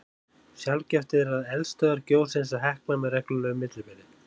Sjaldgæft er að eldstöðvar gjósi eins og Hekla með reglulegu millibili.